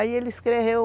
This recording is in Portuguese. Aí ele escreveu